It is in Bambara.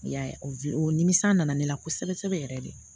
I y'a ye o nimisi na na ne la kosɛbɛ sɛbɛ yɛrɛ de